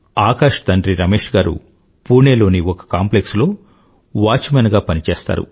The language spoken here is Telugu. ఆకాష్ తండి రమేష్ గారు పుణే లోని ఒక కాంప్లెక్స్ లో వాచ్మేన్ గా పని చేస్తారు